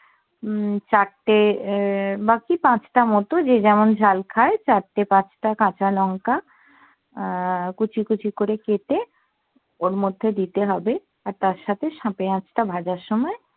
হম চারটে উহ বা কি পাঁচটা মতো যে যেমন ঝাল খায় চারটে পাঁচটা কাঁচা লঙ্কা আহ কুচি কুচি করে কেটে ওর মধ্যে দিতে হবে আর তার সাথে পেঁয়াজ টা ভাজার সময়